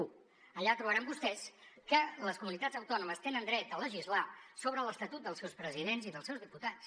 un allà trobaran vostès que les comunitats autònomes tenen dret a legislar sobre l’estatut dels seus presidents i dels seus diputats